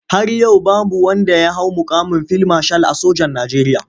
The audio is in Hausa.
Har yau babu wanda ya hau muƙamin fil mashal a sojan Najeriya.